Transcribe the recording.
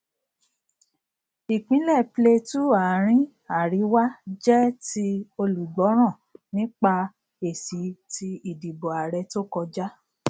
ìpínlẹ plateau àárín àríwá jẹ ti olùgbọràn nípa èsì tí ìdìbò ààrẹ tó kọjá